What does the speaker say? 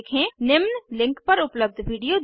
निम्न लिंक पर उपलब्ध विडिओ देखें